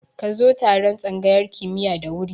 Ka zo taron tsangayar kimiya da wuri